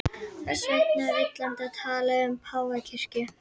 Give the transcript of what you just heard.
Þess vegna er villandi að tala um páfakirkju.